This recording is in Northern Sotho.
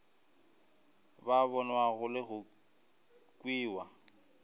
ba bonwago le go kwewa